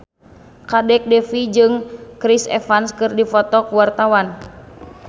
Kadek Devi jeung Chris Evans keur dipoto ku wartawan